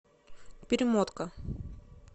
перемотка